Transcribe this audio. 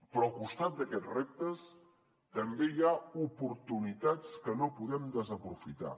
però al costat d’aquests reptes també hi ha oportunitats que no podem desaprofitar